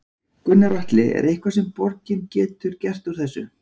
Gunnar Atli: Er eitthvað sem að borgin getur gert úr þessu?